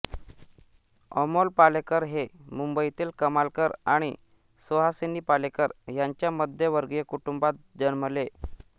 अमोल पालेकर हे मुंबईतील कमलाकर आणि सुहासिनी पालेकर यांच्या मध्यमवर्गीय कुटुंबात जन्मले